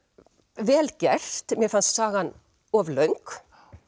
vel gert mér fannst sagan of löng